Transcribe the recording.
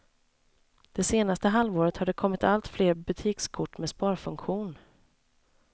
Det senaste halvåret har det kommit allt fler butikskort med sparfunktion.